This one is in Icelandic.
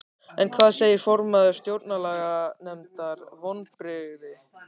En hvað segir formaður Stjórnlaganefndar, vonbrigði?